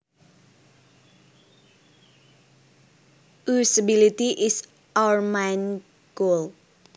Usability is our main goal